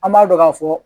An b'a dɔn ka fɔ